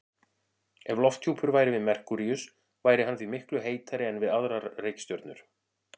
Ef lofthjúpur væri við Merkúríus væri hann því miklu heitari en við aðrar reikistjörnur.